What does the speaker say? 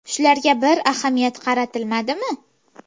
Shularga bir ahamiyat qaratilmadimi?